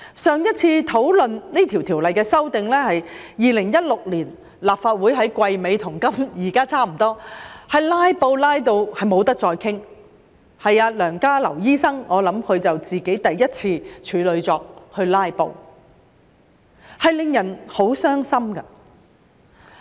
上次討論這項條例的修訂是在2016年，當時是立法會季尾，跟現在差不多，被"拉布"至不能再討論下去，我想是梁家騮醫生首次"拉布"的處女作，令人很傷心。